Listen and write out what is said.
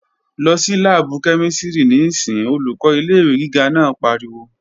Lọ sí láàbù kẹ́mísìrì níìsín! Olùkọ́ ilé-ìwé gíga náà pariwo